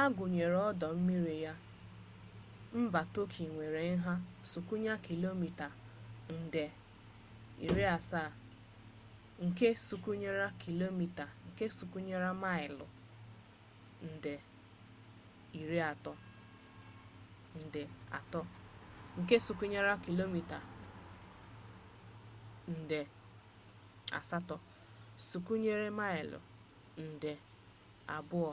a gụnye ọdọ mmiri ga mba tọki nwere nha sụkwịya kilomita 783,562 sụkwịya maịlụ 300,948 nke sụkwịya kilomita 755,688 sụkwịya maịlụ 291,773